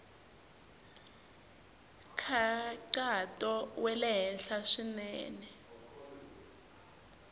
nkhaqato wa le henhla swinene